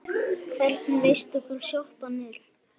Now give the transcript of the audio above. Hvernig veistu hvar sjoppan er?